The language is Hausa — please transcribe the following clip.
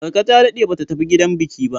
Marka ta daɗe ba ta tafi gidan biki ba.